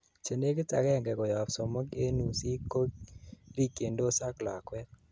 chenegit agengei koyob somok en uusik ko rikyindos ak lakwet